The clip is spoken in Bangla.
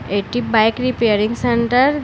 একটি বাইক রিপেয়ারিং সেন্টার --